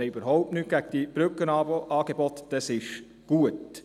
Wir haben überhaupt nichts gegen die Brückenangebote – diese sind gut.